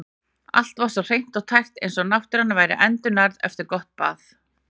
Allt var svo hreint og tært eins og náttúran væri endurnærð eftir gott bað.